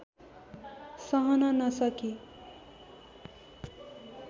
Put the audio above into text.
सहन नसकी